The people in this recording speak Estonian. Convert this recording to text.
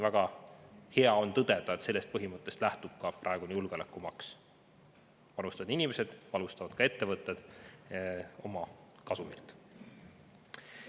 Väga hea on tõdeda, et sellest põhimõttest lähtub ka praegune julgeolekumaks: panustavad inimesed ja panustavad ka ettevõtted oma kasumilt.